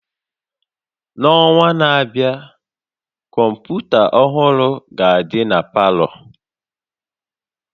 N'ọnwa na-abịa, kọmpụta ọhụrụ ga-adị na palọ